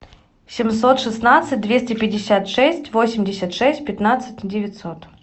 семьсот шестнадцать двести пятьдесят шесть восемьдесят шесть пятнадцать девятьсот